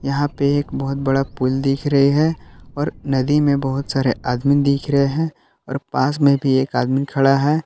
यहां पे एक बहुत बड़ा पुल दिख रहे है और नदी में बहुत सारे आदमी दिख रहे हैं और पास में भी एक आदमी खड़ा है।